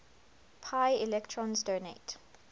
pi electrons donate